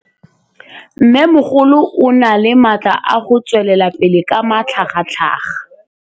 Mmêmogolo o na le matla a go tswelela pele ka matlhagatlhaga.